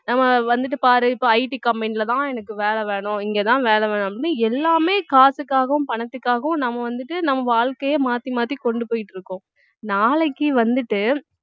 ஹான் வந்துட்டு பாரு இப்ப IT company ல தான் எனக்கு வேலை வேணும் இங்கதான் வேலை வேணும்னு எல்லாமே காசுக்காகவும் பணத்துக்காகவும் நம்ம வந்துட்டு நம்ம வாழ்க்கைய மாத்தி மாத்தி கொண்டு போயிட்டு இருக்கோம் நாளைக்கு வந்துட்டு